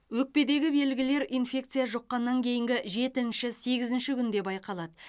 өкпедегі белгілер инфекция жұққаннан кейінгі жетінші сегізінші күнде байқалады